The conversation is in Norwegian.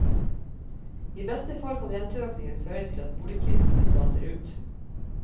I beste fall kan renteøkningen føre til at boligprisene flater ut.